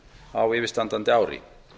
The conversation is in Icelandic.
á yfirstandandi ári